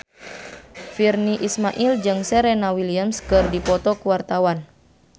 Virnie Ismail jeung Serena Williams keur dipoto ku wartawan